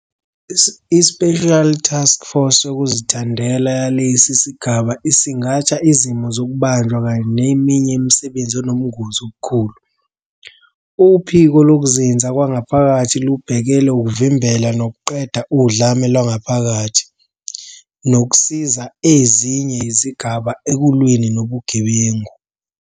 I-Special Task Force yokuzithandela yalesi sigaba isingatha izimo zokubanjwa kanye neminye imisebenzi enobungozi obukhulu. Uphiko Lokuzinza Kwangaphakathi lubhekele ukuvimbela nokuqeda udlame lwangaphakathi, nokusiza ezinye izigaba ekulweni nobugebengu.